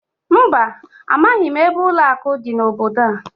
Mba, amaghị m ebe ụlọakụ dị n'obodo a